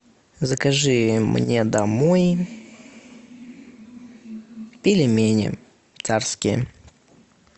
закажи мне домой пельмени царские